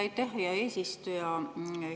Aitäh, hea eesistuja!